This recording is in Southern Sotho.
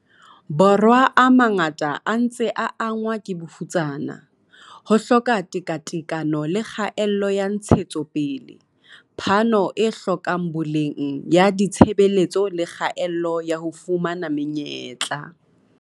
Borwa a mangata a ntse a angwa ke bofutsana, ho hloka tekatekano le kgaello ya ntshetsopele, phano e hlokang boleng ya ditshebeletso le kgaello ya ho fumana me nyetla.